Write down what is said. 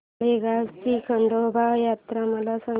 माळेगाव ची खंडोबाची यात्रा मला सांग